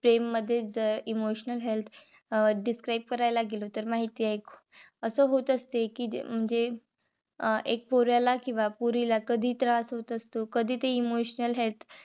प्रेम मधेच जर emotional health describe करायला गेलो. तर माहित अस होत असत कि म्हणजे अं एक पोऱ्याला किंवा पोरीला कधी त्रास होत असतो. कधी ते emotional health